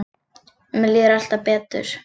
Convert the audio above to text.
Mér líður alltaf betur.